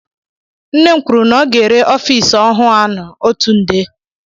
Nne m kwụrụ na ọ ga-ere ọffici ọhụụ aṅụ ọtu nde.